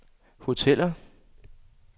hoteller